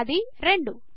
అది 2